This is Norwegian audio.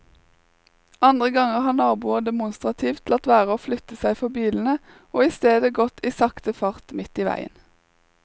Andre ganger har naboer demonstrativt latt være å flytte seg for bilene og i stedet gått i sakte fart midt i veien.